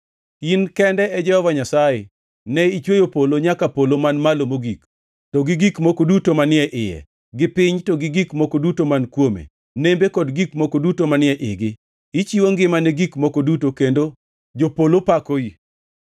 In kende e Jehova Nyasaye. Ne ichweyo polo nyaka polo man malo mogik, to gi gik moko duto manie iye, gi piny to gi gik moko duto man kuome, nembe kod gik moko duto manie igi. Ichiwo ngima ne gik moko duto, kendo jopolo pakoi.